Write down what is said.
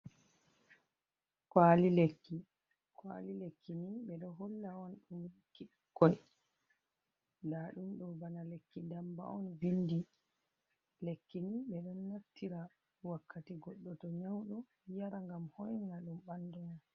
Kwaali lekki. Kwaali lekki ni ɓe ɗo holla on ɗum lekki bikkoi. Ndaa ɗum ɗo bana lekki ndamba on vindi. Lekki ni ɓe ɗo naftira wakkati goɗɗo to nyauɗo, yara ngam hoinina ɗum ɓandu mum.